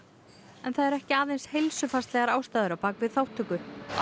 en það eru ekki aðeins heilsufarslegar ástæður á bak við þátttöku